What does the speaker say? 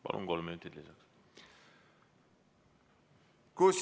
Palun, kolm minutit lisaks!